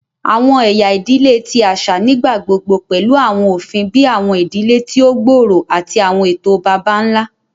Awọn ẹya idile ti aṣa nigbagbogbo pẹlu awọn ofin bii awọn idile ti o gbooro ati awọn eto baba-nla.